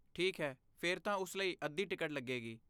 ਠੀਕ ਹੈ, ਫਿਰ ਤਾਂ ਉਸ ਲਈ ਅੱਧੀ ਟਿਕਟ ਲੱਗੇਗੀ।